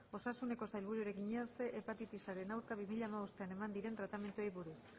osasuneko sailburuari egina ehun hepatitisaren aurka bi mila hamabostean eman diren tratamenduei buruz